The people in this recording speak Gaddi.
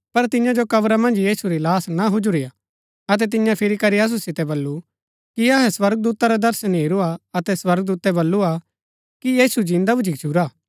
पर तियां जो कब्रा मन्ज यीशु री लाहश ना हुजुरीआ अतै तियें फिरी करी असु सितै बल्लू कि अहै स्वर्गदूता रा दर्शन हेरूआ अतै स्वर्गदूतै बल्‍लूआ कि यीशु जिन्दा भूच्ची गच्छुरा